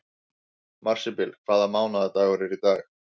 Marsibil, hvaða mánaðardagur er í dag?